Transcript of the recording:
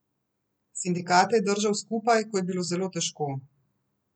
Sindikate je držal skupaj, ko je bilo zelo težko.